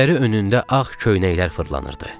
Gözləri önündə ağ köynəklər fırlanırdı.